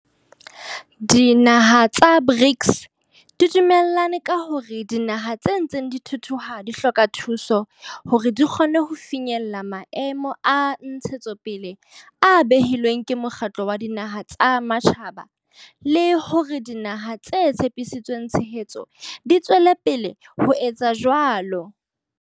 Dinaha tsa BRICS di dume llane ka hore dinaha tse ntseng di thuthuha di hloka thuso hore di kgone ho finyella Maemo a Ntshetsopele a behilweng ke Mokgatlo wa Dinaha tsa Matjhaba le hore dinaha tse tshepisitseng tshehetso di tswele pele ho etsa jwalo.